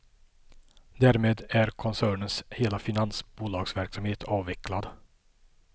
Därmed är koncernens hela finansbolagsverksamhet avvecklad.